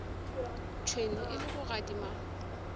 tšhwene e le go gadima